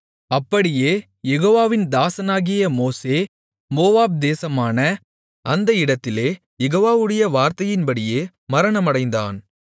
அப்படியே யெகோவாவின் தாசனாகிய மோசே மோவாப் தேசமான அந்த இடத்திலே யெகோவாவுடைய வார்த்தையின்படியே மரணமடைந்தான்